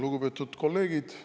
Lugupeetud kolleegid!